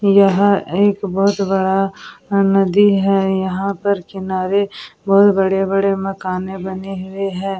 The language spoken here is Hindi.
यह एक बहुत बड़ा नदी है यहाँ पर किनारे बहुत बड़े-बड़े मकाने बने हुए है ।